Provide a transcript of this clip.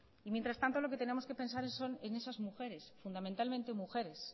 mientras tanto lo que tenemos que pensar es en esas mujeres fundamentalmente mujeres